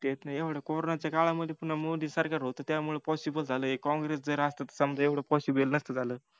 तेच ना एवढं कोरोनाच्या काळामधी पून्हा मोदीं सरकार होते त्यामुळ POSSIBLE झाल जर हे काँग्रेस जर आसत तर हे POSSIBLE नसत झाल